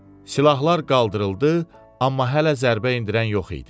Silahlar qaldırıldı, amma hələ zərbə endirən yox idi.